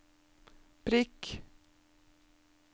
prikk